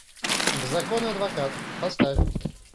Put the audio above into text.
беззаконный адвокат поставь